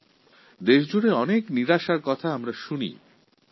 আমাদের দেশ সম্পর্কে কখনও কখনও নিরাশাজনক কথাও শোনা যায়